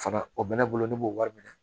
Fara o bɛ ne bolo ne b'o wari minɛ